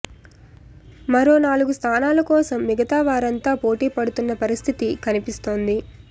మరో నాలుగు స్థానాల కోసం మిగతా వారంతా పోటీ పడుతున్న పరిస్థితి కనిపిస్తోంది